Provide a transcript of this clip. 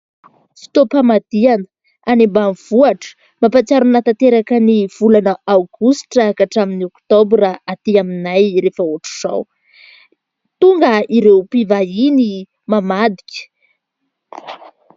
Fotoam-pamadihana any ambanivohatra. Mampatsiaro ahy tanteraka ny volana aogositra ka hatramin'ny oktobra aty aminay rehefa ohatra izao. Tonga ireo mpivahiny mamadika.